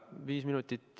Viis minutit seega.